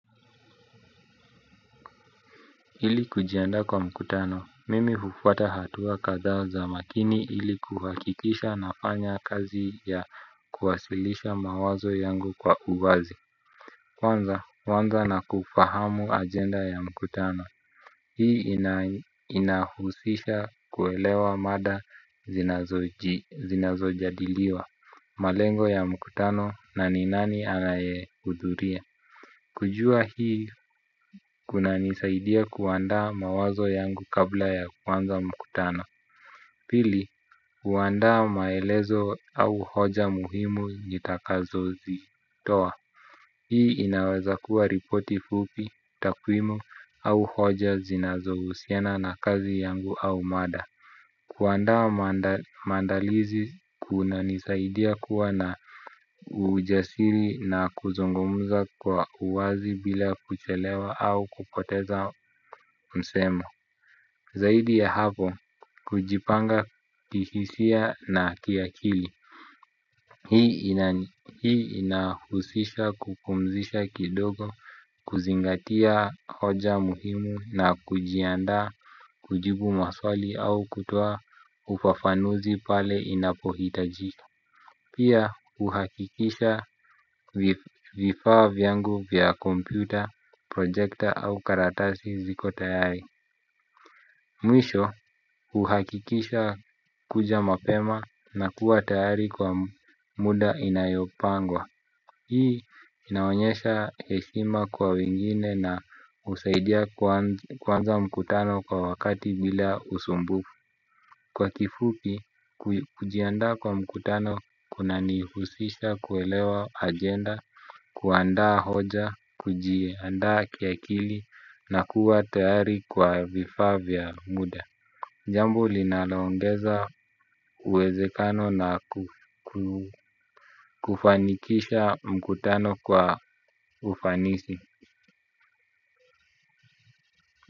Ili kujiandaa kwa mkutano, mimi hufuata hatua kadhaa za makini ili kuhakikisha nafanya kazi ya kuwasilisha mawazo yangu kwa uwazi. Kwanza, huanza na kufahamu agenda ya mkutano. Hii inahusisha kuelewa mada zinazojadiliwa. Malengo ya mkutano na ni nani alayehudhuria. Kujua hii kunanisaidia kuandaa mawazo yangu kabla ya kuanza mkutano. Pili, kuandaa maelezo au hoja muhimu nitakazozitoa, hii inaweza kuwa ripoti fupi, takwimu au hoja zinazohusiana na kazi yangu au mada. Kuandaa mandalizi kunanisaidia kuwa na ujasiri na kuzungumza kwa uwazi bila kuchelewa au kupoteza msemo. Zaidi ya hapo, kujipanga kihisia na kiakili. Hii inahusisha kupumzisha kidogo. Kuzingatia hoja muhimu na kujiandaa kujibu maswali au kutoa ufafanuzi pale inapohitajika. Pia huhakikisha vifaa vyangu vya kompyuta, projekta au karatasi ziko tayari. Mwisho uhakikisha kuja mapema na kuwa tayari kwa muda inayopangwa. Hii inaonyesha heshima kwa wengine na husaidia kuanza mkutano kwa wakati bila usumbufu. Kwa kifupi kujiandaa kwa mkutano kunanihusisha kuelewa agenda. Kuandaa hoja, kujiandaa kiakili na kuwa tayari kwa vifaa vya muda jambo linaloongeza uwezekano na kufanikisha mkutano kwa ufanisi.